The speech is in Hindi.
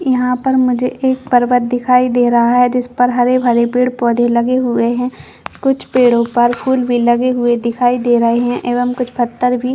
यहाँ पर मुझे एक पर्वत दिखाई दे रहा है जिस पर हरे - भरे पेड़ - पौधे लगे हुए है कुछ पेड़ो पर फूल भी लगे हुए दिखाई दे रहै है एवं कुछ पत्थर भी --